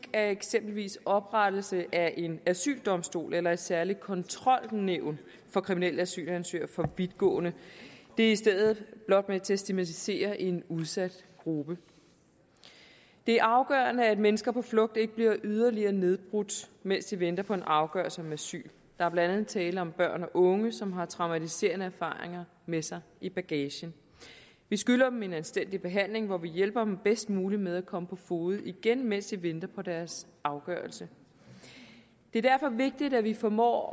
er eksempelvis oprettelse af en asyldomstol eller et særligt kontrolnævn for kriminelle asylansøgere for vidtgående det er i stedet blot med til at stigmatisere en udsat gruppe det er afgørende at mennesker på flugt ikke bliver yderligere nedbrudt mens de venter på en afgørelse om asyl der er blandt andet tale om børn og unge som har traumatiserende erfaringerne med sig i bagagen vi skylder dem en anstændig behandling hvor vi hjælper dem bedst muligt med at komme på fode igen mens de venter på deres afgørelse det er derfor vigtigt at vi formår